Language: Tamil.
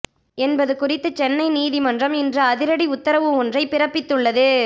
என்பது குறித்து சென்னை நீதிமன்றம் இன்று அதிரடி உத்தரவு ஒன்றை பிறப்பித்துள்ளது